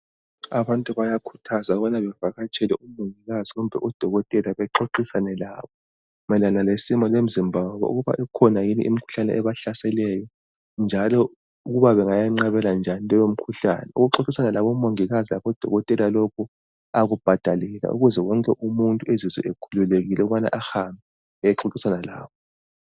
Abantu bayakhuthazwa ukubana bavatsele umongikazi kumbe udokotela bexoxisane labo mayelana lesimo semizimba yabo ukuba ikhona yini imikhuhlane ebahlaseleyo, njalo ukuba bengayeqabela njani leyo mikhuhlane, ukuxoxisana labo mongikazi labo dokotela lokhu akubhadalelwa ukuze wonke umuntu azizwe ekhululekile ahambe ayexoxisana labo.